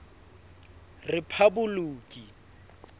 rephaboloki